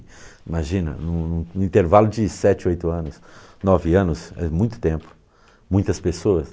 Imagina, em um em um em um intervalo de sete, oito anos, nove anos, faz muito tempo, muitas pessoas.